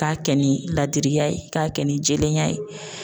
K'a kɛ ni ladiriya ye k'a kɛ ni jɛlenya ye